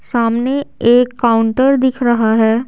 सामने एक काउंटर दिख रहा है।